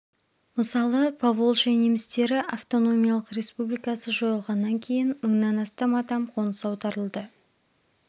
мысалы поволжья немістері автономиялық республикасы жойылғаннан кейін мыңнан астам адам қоныс аударылды